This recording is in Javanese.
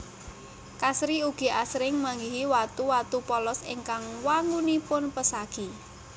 Kasri ugi asring manggihi watu watu polos ingkang wangunipun pesagi